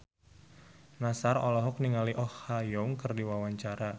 Nassar olohok ningali Oh Ha Young keur diwawancara